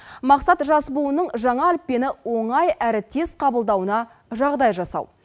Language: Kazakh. мақсат жас буынның жаңа әліппені оңай әрі тез қабылдауына жағдай жасау